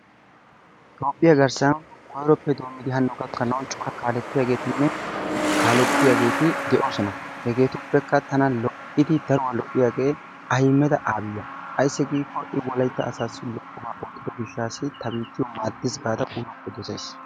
Toophphiya garssan koyroppe doomidi hanno gakkanawu cora kaaletiyaagetinne kaaletiyageeti de'oosona. Hegeetuppekka tana lo'iidi daruwaa lo'iyagee Ahimeda Aliya ayssi giikko I wolaytta asassi lo'obaa qoppiyo gishshaas ta biittiyo maaddis gaada uluwappe dosays.